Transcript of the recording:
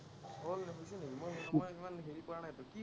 মই ইমান হেৰি কৰা নাইতো কি